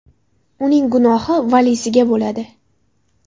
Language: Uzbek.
Uning gunohi valiysiga bo‘ladi”.